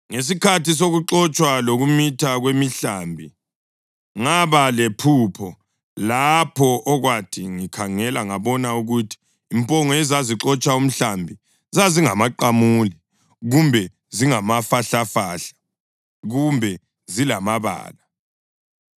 Ngesikhathi sokuxotshwa lokumitha kwemihlambi, ngaba lephupho lapho okwathi ngikhangela ngabona ukuthi impongo ezazixotsha umhlambi zazingamaqamule, kumbe zingamafahlafahla kumbe zilamabala.